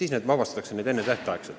Sageli vabastatakse nad enne tähtaega.